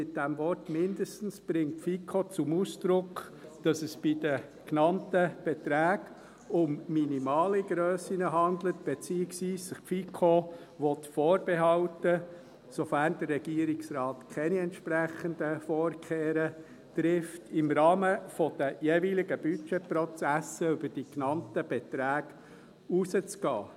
Mit dem Wort «mindestens» bringt die FiKo zum Ausdruck, dass es sich bei den genannten Beträgen um minimale Grössen handelt, beziehungsweise dass sich die FiKo vorbehalten will – sofern der Regierungsrat keine entsprechenden Vorkehren trifft –, im Rahmen der jeweiligen Budgetprozesse über die genannten Beträge hinauszugehen.